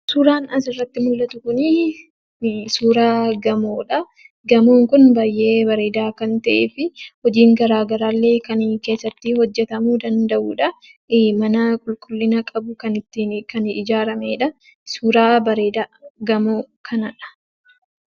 Suuraan asirratti mul'atu kun suuraa gamoodha. Suuraan baay'ee bareedaa kan ta'ee fi hojiin garaagaraallee kan keessatti hojjatamuu danda'udha. Mana qulqullina qabu kan ijaaramedha. Suuraa bareedaa gamoo kanadha.